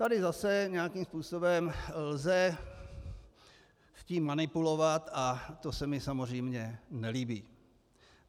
Tady zase nějakým způsobem lze s tím manipulovat a to se mi samozřejmě nelíbí.